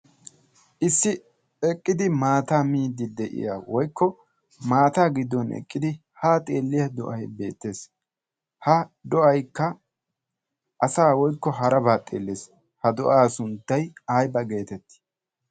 issi eqqidi maataa gidin woykko haa xeeliya do'ay beetees, ha do'aykka asaa woykko harabaa xeelees, ha do'aa sunttay aybba geetettii?